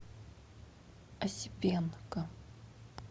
осипенко